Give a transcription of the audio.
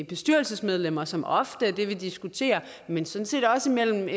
bestyrelsesmedlemmer som ofte er det vi diskuterer men sådan set også mellem